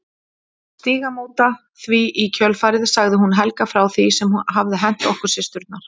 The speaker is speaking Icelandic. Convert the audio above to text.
Stígamóta því í kjölfarið sagði hún Helga frá því sem hafði hent okkur systurnar.